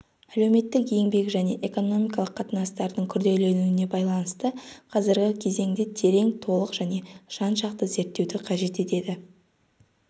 әлеуметтік-еңбек және экономикалық қатынастардың күрделенуіне байланысты қазргі кезеңде терең толық және жан-жақты зерттеуді қажет етеді